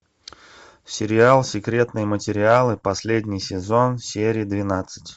сериал секретные материалы последний сезон серия двенадцать